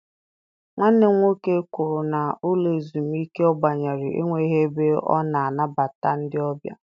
Nwanne m nwoke kwuru na ụlọ ezumike ọ banyere enweghị ebe a na-anabata ndị ọbịa.